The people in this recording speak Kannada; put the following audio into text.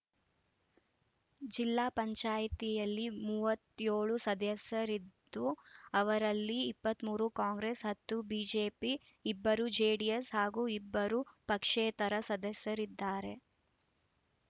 ಜಿಲ್ಲಾ ಪಂಚಾಯ್ತಿಯಲ್ಲಿ ಮೂವತ್ಯೋಳು ಸದಸ್ಯರಿದ್ದು ಅವರಲ್ಲಿ ಇಪ್ಪತ್ತ್ ಮೂರು ಕಾಂಗ್ರೆಸ್‌ ಹತ್ತು ಬಿಜೆಪಿ ಇಬ್ಬರು ಜೆಡಿಎಸ್‌ ಹಾಗೂ ಇಬ್ಬರು ಪಕ್ಷೇತರ ಸದಸ್ಯರಿದ್ದಾರೆ